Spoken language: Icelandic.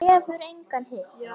Hef engan hitt og.